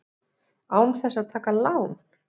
Án þess að taka lán!